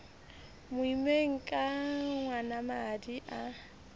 mo immeng ke ngwanamadi a